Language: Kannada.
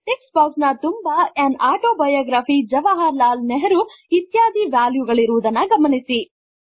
ಟೆಕ್ಸ್ಟ್ ಬಾಕ್ಸ್ ನ ತುಂಬಾ AnautobiographyJawaharlalNehruಇತ್ಯಾದಿವ್ಯಾಲ್ಯು ಗಳಿರುವುದನ್ನು ಗಮನಿಸಿ